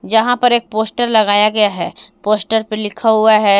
जहां पर एक पोस्टर लगाया गया है पोस्टर पे लिखा हुआ है।